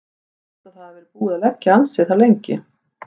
Ég held að það hafi verið búið að liggja þar ansi lengi.